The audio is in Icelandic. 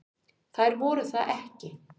Þær voru það ekki.